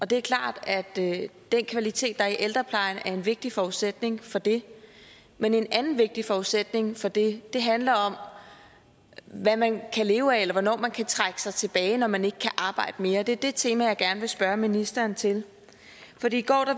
det er klart at den kvalitet der er i ældreplejen er en vigtig forudsætning for det men en anden vigtig forudsætning for det handler om hvad man kan leve af eller hvornår man kan trække sig tilbage når man ikke kan arbejde mere og det er det tema jeg gerne vil spørge ministeren til i går